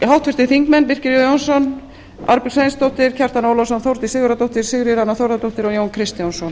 háttvirtir þingmenn birkir j jónsson arnbjörg sveinsdóttir kjartan ólafsson þórdís sigurðardóttir sigríður a þórðardóttir og jón kristjánsson